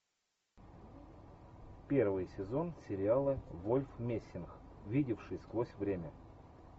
первый сезон сериала вольф мессинг видевший сквозь время